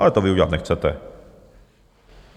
Ale to vy udělat nechcete.